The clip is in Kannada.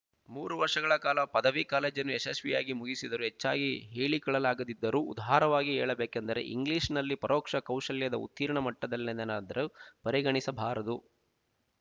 ಮೂರು ವರ್ಷಗಳ ಕಾಲ ಪದವಿ ಕಾಲೇಜನ್ನು ಯಶಸ್ವಿಯಾಗಿ ಮುಗಿಸಿದರು ಹೆಚ್ಚಾಗಿ ಹೇಳಿಕೊಳ್ಳಲಾಗದಿದ್ದರೂ ಉದಾರವಾಗಿ ಹೇಳಬೇಕೆಂದರೆ ಇಂಗ್ಲೀಷ್ ನಲ್ಲಿ ಪರೋಕ್ಷ ಕೌಶಲ್ಯದ ಉತ್ತೀರ್ಣ ಮಟ್ಟದನೆಲ್ಲೆನಾದ್ದರು ಪರಿಗಣಿಸಬಹುದಾದವರು